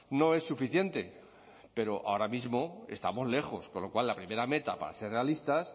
no es suficiente pero ahora mismo estamos lejos con lo cual la primera meta para ser realistas